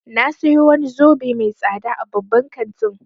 Na sayo wani zobe mai tsada a babban kantin